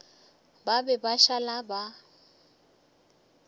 ba be ba šala ba